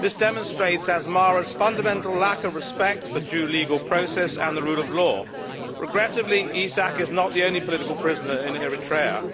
This demonstrates Asmara's fundamental lack of respect for due legal process and the rule of law. Regrettably, Isaak is not the only political prisoner in Eritrea.